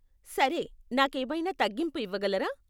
సరే, నాకేమైనా తగ్గింపు ఇవ్వగలరా?